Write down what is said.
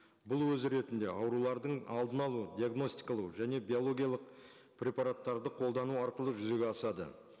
бұл өз ретінде аурулардың алдын алу диагностикалау және биологиялық препараттарды қолдану арқылы жүзеге асады